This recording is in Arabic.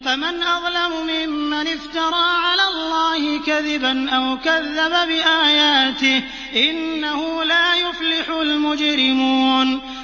فَمَنْ أَظْلَمُ مِمَّنِ افْتَرَىٰ عَلَى اللَّهِ كَذِبًا أَوْ كَذَّبَ بِآيَاتِهِ ۚ إِنَّهُ لَا يُفْلِحُ الْمُجْرِمُونَ